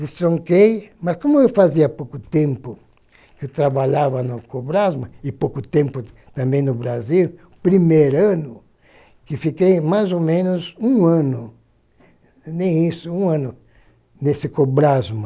Destronquei, mas como eu fazia pouco tempo que trabalhava no Cobrasma, e pouco tempo também no Brasil, o primeiro ano, que fiquei mais ou menos um ano, nem isso, um ano nesse Cobrasma,